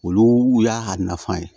Olu y'a nafa ye